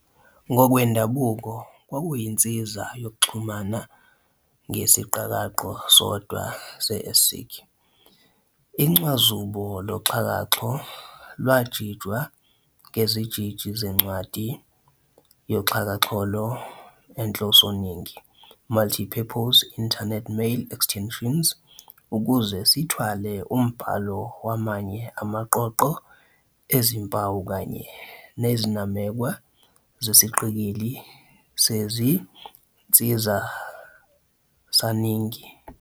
Ngokwendabuko kwakuyinsiza yokuxhumana ngesiqakaqo-sodwa se-ASCII, incwazuba loxhakaxholo lwajijwa ngeziJiji zeNcwadi yoXhakaxholo eNhlosoningi "Multipurpose Internet Mail Extensions, MIME" ukuze sithwale umbhalo wamanye amaqoqo ezimpawu kanye nezinamekwa zesiqikili sezinzisaningi.